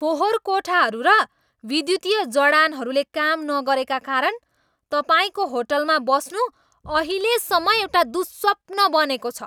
फोहोर कोठाहरू र विद्युतीय जडानहरूले काम नगरेका कारण तपाईँको होटलमा बस्नु अहिलेसम्म एउटा दुःस्वप्न बनेको छ।